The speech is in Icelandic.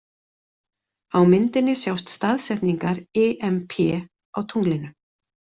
Á myndinni sjást Staðsetningar IMP á tunglinu.